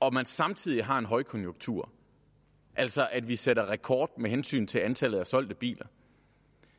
og at man samtidig har en højkonjunktur altså at vi sætter rekord med hensyn til antallet af solgte biler